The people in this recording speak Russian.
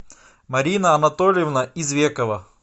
марина анатольевна извекова